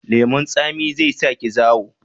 Lemun tsami zai sa ki zawo?